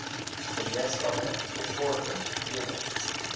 gemeenskappe bevorder kennis